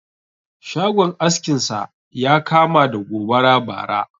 Shagon askin sa ya kama da gobara bara